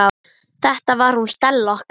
Þetta var hún Stella okkar.